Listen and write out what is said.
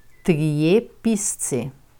Trije pisci.